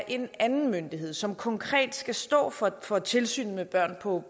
en anden myndighed som konkret skal stå for for tilsynet med børn på